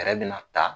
Fɛɛrɛ bɛna ta